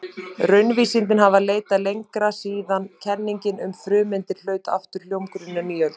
Raunvísindin hafa leitað lengra síðan kenningin um frumeindir hlaut aftur hljómgrunn á nýöld.